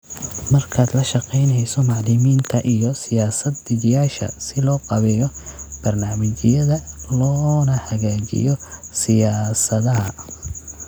Markaad la shaqaynayso macalimiinta iyo siyaasad-dejiyeyaasha si loo qaabeeyo barnaamijyada loona hagaajiyo siyaasadaha.